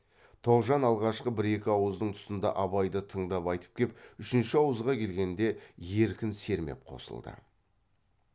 тоғжан алғашқы бір екі ауыздың тұсында абайды тыңдап айтып кеп үшінші ауызға келгенде еркін сермеп қосылды